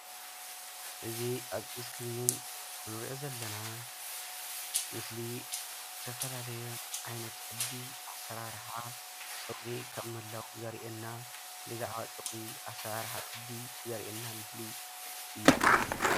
እዚ ኣብ እስክሪን እንሪኦ ዘለና ምስሊ ዝተፈላለዩ ዓይነት ቅዲ ኣሰራርሓ ፀጉሪ ከምምህላዉ ዘርእየና ብዛዕባ ፀጉሪ ኣሰራርሓ ቅዲ ዘርእየና ምስሊ እዩ፡፡